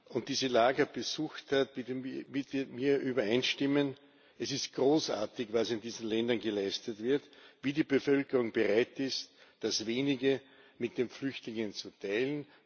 war und diese Lager besucht hat, wird mit mir übereinstimmen Es ist großartig, was in diesen Ländern geleistet wird, wie die Bevölkerung bereit ist, das Wenige mit den Flüchtlingen zu teilen.